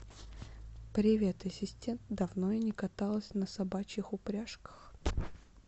привет ассистент давно я не каталась на собачьих упряжках